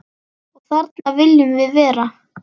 Og þarna viljum við vera.